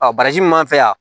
baraji min m'an fɛ yan